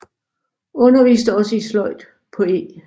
Underviste også i sløjd på E